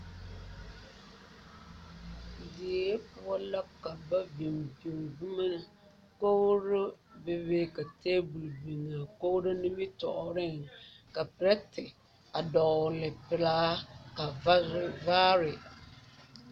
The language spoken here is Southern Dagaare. Die poɔ la ka biŋ biŋ boma kogro bebe ka table biŋ a kogro nimitɔɔreŋ ka perɛti a dɔgle pelaa ka vazu vaare.